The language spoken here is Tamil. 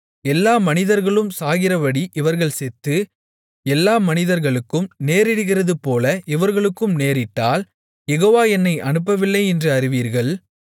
எல்லா மனிதர்களும் சாகிறபடி இவர்கள் செத்து எல்லா மனிதர்களுக்கும் நேரிடுகிறதுபோல இவர்களுக்கும் நேரிட்டால் யெகோவா என்னை அனுப்பவில்லை என்று அறிவீர்கள்